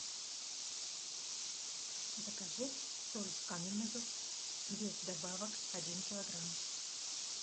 закажи соль каменную без добавок один килограмм